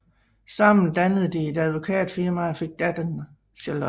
Sammen dannede de et advokatfirmaet og fik datteren Charlotte